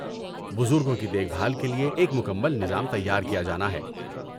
بزرگوں کی دیکھ بھال کے لیے ایک مکمل نظام تیار کیا جانا ہے۔